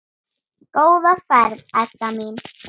Góða ferð, Edda mín.